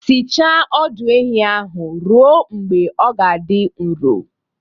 Sichaa ọdụ ehi ahụ ruo mgbe ọ ga-adị nro